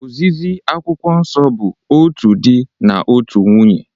Ozizi Akwụkwọ Nsọ bụ otu di na otu nwunye